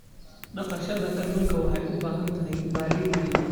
Dhaqashada kalluunka waxay u baahan tahay balli weyn.